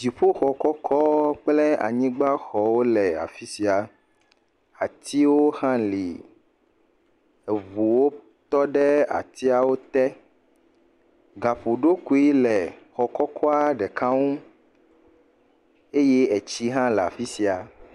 Dziƒoxɔ kɔkɔ kple anyigbaxɔwo le afi sia. Atiwo hã li. Eŋuwo tɔ ɖe atiawo te. Gaƒoɖokui le xɔ kɔkɔa ɖeka ŋu eye etsi hã le afi sia.